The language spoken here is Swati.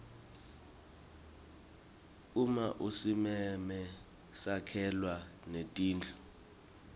uma usimeme sakhelwa netindlu